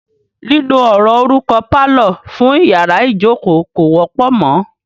Lílo ọ̀rọ̀ orúkọ "pálọ̀" fún iyàrá ìjókó kò wọ́pọ̀ mọ.